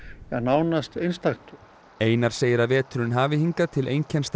nánast einstakt einar segir að veturinn hafi hingað til einkennst af